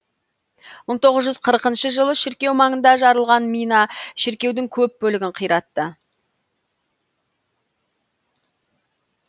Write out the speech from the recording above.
мың тоғыз жүз қырқыншы жылы шіркеу маңында жарылған мина шіркеудің көп бөлігін қиратты